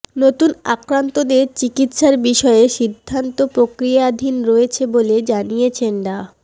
নতুন আক্রান্তদের চিকিৎসার বিষয়ে সিদ্ধান্ত প্রক্রিয়াধীন রয়েছে বলে জানিয়েছেন ডা